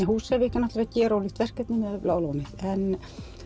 Húsavík er gerólíkt verkefni miðað við Bláa lónið en